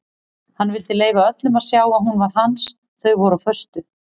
Hann vildi leyfa öllum að sjá að hún var hans þau voru á föstu.